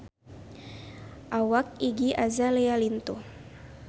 Awak Iggy Azalea lintuh